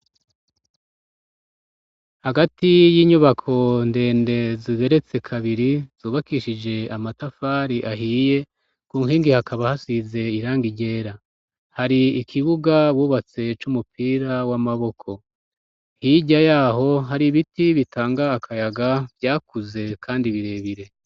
Hagati y'inyubako ndende zigeretse kabiri, zubakishije amatafari ahiye, ku nkingi hakaba hasize irangi ryera, hari ikibuga bubatse c'umupira w'amaboko, hirya yaho hari ibiti bitanga akayaga vyakuze kandi birebire.